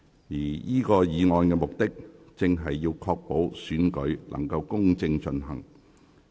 而這項議案的目的，正是要確保行政長官選舉能公正進行。